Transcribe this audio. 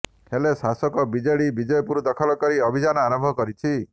ହେଲେ ଶାସକ ବିଜେଡି ବିଜେପୁର ଦଖଲ ପାଇଁ ଅଭିଯାନ ଆରମ୍ଭ କରିଛି